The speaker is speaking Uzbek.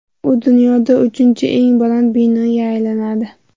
U dunyoda uchinchi eng baland binoga aylanadi.